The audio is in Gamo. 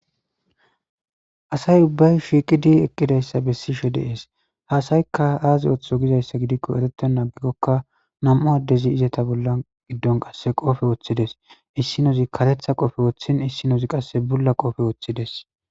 asay ubbay shiiqidi eqqidayssa bessishe deees haasaykka aazi oththo gizayssa gidikko erete naagikkokka nam7u addezi izeta bolla giddon qasse qophe woththides issinozi karetha qofe woththin issinozi qasse bulla qoofe woththides.